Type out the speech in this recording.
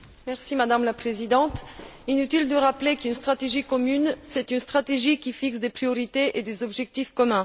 Madame la Présidente, inutile de rappeler qu'une stratégie commune, c'est une stratégie qui fixe des priorités et des objectifs communs.